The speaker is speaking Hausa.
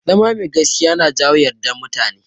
Zama mai gaskiya yana jawo yardar mutane.